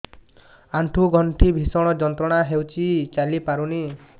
ଆଣ୍ଠୁ ଗଣ୍ଠି ଭିଷଣ ଯନ୍ତ୍ରଣା ହଉଛି ଚାଲି ପାରୁନି